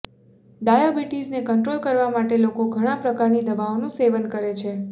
diabetes ને control કરવા માટે લોકો ઘણા પ્રકારની દવાઓ નું સેવન કરે છે